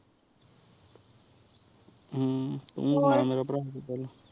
ਹ੍ਮ੍ਮ ਹੋਰ ਉਨਸ ਮੇਰਾ